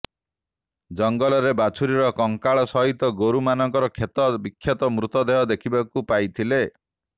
ଜଙ୍ଗଲରେ ବାଛୁରୀର କଙ୍କାଳ ସହିତ ଗୋରୁମାନଙ୍କ କ୍ଷତ ବିକ୍ଷତ ମୃତଦେହ ଦେଖିବାକୁ ପାଇଥିଲେ